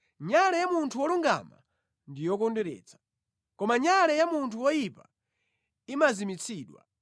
Nyale ya munthu wolungama ndi yokondweretsa, koma nyale ya munthu woyipa imazimitsidwa.